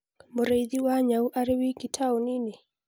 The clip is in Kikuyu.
Mũrĩithi wa nyau arĩ wiki taũni-inĩ